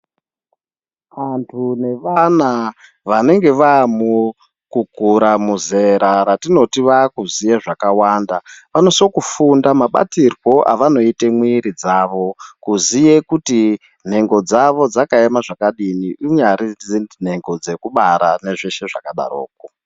Antu nevana vanenge vavamo muzera vatinoti vanoziva zvakawanda vanosisa Kufunda mabatirwo avanoita mwiri dzawo Kuziva kuti nhenge dzawo dzakaema zvakadini kunyati dziri nhengo dzekubara nezveshe zvakadaroko.